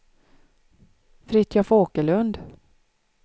Fritiof Åkerlund